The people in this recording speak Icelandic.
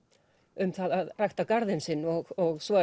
um það að rækta garðinn sinn og svo